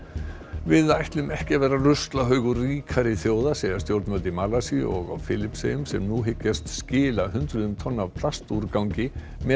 við ætlum ekki að vera ruslahaugar ríkari þjóða segja stjórnvöld í Malasíu og á Filippseyjum sem nú hyggjast skila hundruðum tonna af plastúrgangi meðal